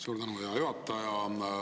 Suur tänu, hea juhataja!